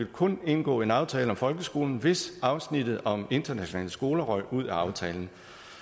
kun ville indgå en aftale om folkeskolen hvis afsnittet om internationale skoler røg ud af aftalen